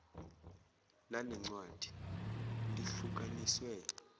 lale ncwadi lihlukaniswe